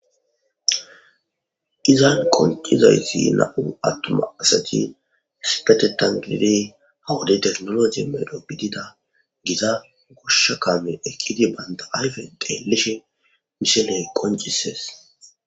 Izan qonc'isizaysi na'u atuma asati issipetetan gididi ha wode tekinoloje medho gidida gita gosha kame eqidi banta ayfen xelishe missile qonc'ses.